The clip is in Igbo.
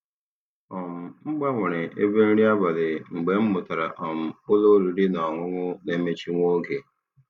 um M gbanwere ebe nri abalị mgbe m mụtara um ụlọ oriri na ọṅụṅụ na-emechi nwa oge.